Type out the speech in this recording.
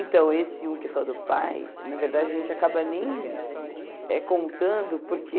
Então, esse um que é só do pai, na verdade, a gente acaba nem eh contando porque...